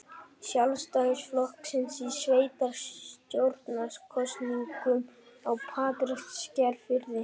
Sjálfstæðisflokksins í sveitarstjórnarkosningum á Patreksfirði.